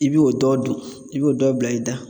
I bi o dɔ dun, i bi o dɔ bila i da.